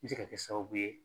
bɛ se ka kɛ sababu ye